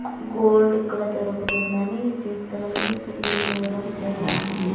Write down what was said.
Gold ఇక్కడ దొరుకుతుందని చిత్రంలో తెలియజేయడం జరిగింది.